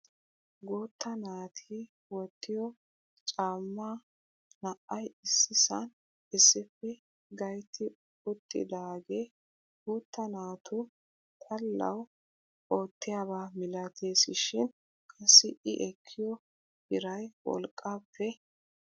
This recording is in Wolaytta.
Guutta naati wottiyoo cammaa naa"ay issisaan issippe gaytti uttidage guutta naatu xallawu oottiyaaba milatesishin qassi i ekkiyoo biray wolqqaappe darees.